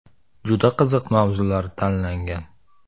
Juda qiziq mavzular tanlangan.